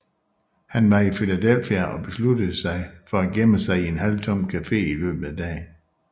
Han var i Philadelphia og besluttede sig for at gemme sig i en halvtom café i løbet af dagen